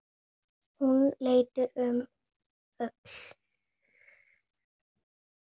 Hún leit um öxl.